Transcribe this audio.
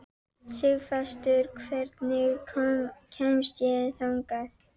Sigfastur, hvernig kemst ég þangað?